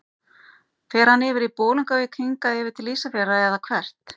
Fer hann yfir í Bolungarvík, hingað yfir til Ísafjarðar eða hvert?